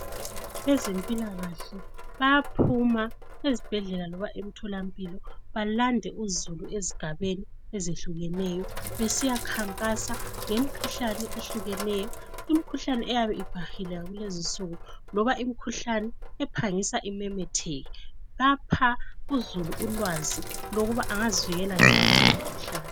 Abezempilakahle bayaphuma ezibhedlela loba emtholampilo balande uzulu ezigabeni ezehlukeneyo besiya khankasa ngemkhuhlane ehlukeneyo imkhuhlane eyabe ibhahile kulezi insuku loba imkhuhlane ephangisa imemetheke lapha uzulu ulwazi lokuba engazivikela njani kule mikhuhlane.